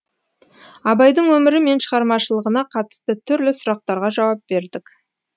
абайдың өмірі мен шығармашылығына қатысты түрлі сұрақтарға жауап бердік